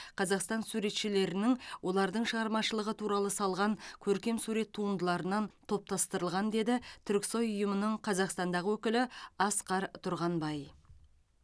қазақстан суретшілерінің олардың шығармашылығы туралы салған көркемсурет туындыларынан топтастырылған деді түрксой ұйымының қазақстандағы өкілі асқар тұрғанбай